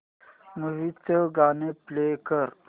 movie चं गाणं play कर